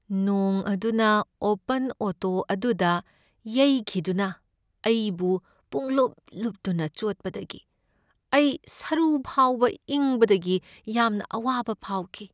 ꯅꯣꯡ ꯑꯗꯨꯅ open auto ꯑꯗꯨꯗ ꯌꯩꯈꯤꯗꯨꯅ ꯑꯩꯕꯨ ꯄꯨꯡꯂꯨꯄ ꯂꯨꯞꯇꯨꯅ ꯆꯣꯠꯄꯗꯒꯤ ꯑꯩ ꯁꯔꯨ ꯐꯥꯎꯕ ꯏꯪꯕꯗꯒꯤ ꯌꯥꯝꯅ ꯑꯋꯥꯕ ꯐꯥꯎꯈꯤ꯫